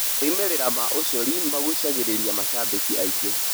Moimĩrĩra ma ũcori magucaagĩrĩria macabiki aingĩ.